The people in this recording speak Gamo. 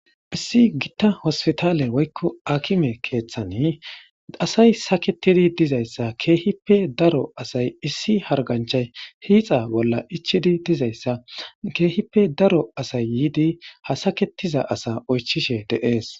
Issi gitta hospitaale woykko akime keeththani asay saketidi diza issa keehippe daro asay issi harganchay hiixa bolla ichidi diza issa keehippe daro asay yiidi ha saketiza asa oychishe dees.